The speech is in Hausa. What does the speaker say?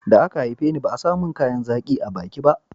da a ka haife ni ba a samun kayan zaƙi a baki ba